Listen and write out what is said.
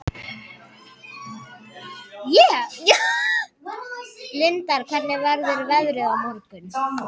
Lindar, hvernig verður veðrið á morgun?